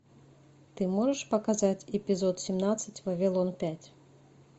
ты можешь показать эпизод семнадцать вавилон пять